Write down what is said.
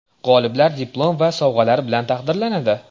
G‘oliblar diplom va sovg‘alar bilan taqdirlanadi.